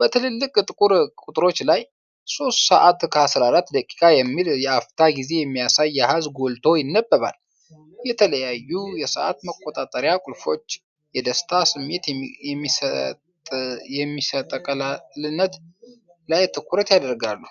በትልልቅ ጥቁር ቁጥሮች ላይ "03:14" የሚል የአፍታ ጊዜ የሚያሳይ አሃዝ ጎልቶ ይነበባል፤ የተለያዩ የሰዓት መቆጣጠሪያ ቁልፎች የደስታ ስሜት በሚሰጥቀላልነት ላይ ትኩረት ያደርጋሉ።